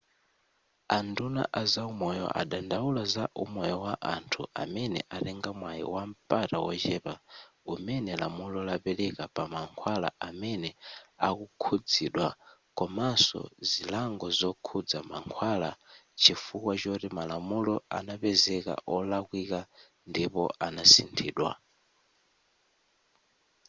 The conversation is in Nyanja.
a nduna a zaumoyo adandaula za umoyo wa anthu amene atenga mwai wampata wochepa umene lamulo lapeleka pa mankhwala amene akukhuzidwa komanso zilango zokhuza mankhwala chifukwa choti malamulo anapezeka olakwika ndipo anasinthidwa